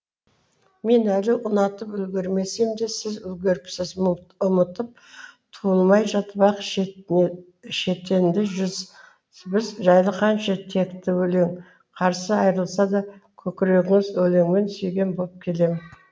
мен әлі ұнатып үлгермесем де сіз үлгеріпсіз ұмытып туылмай жатып ақ шетінеді жүз біз жайлы қанша текті өлең қарсы айырылса да көкірегіңіз өлеңмен сүйген боп келем